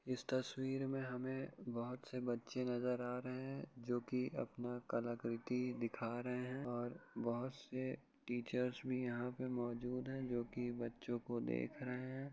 इस तस्वीर में हमें बहुत से बच्चे नज़र आ रहें हैं जो की अपना कलाकृति दिखा रहें हैं और बहुत से टीचर्स भी यहाँ पर मौजुद हैं जो की बच्चों को देख रहें हैं।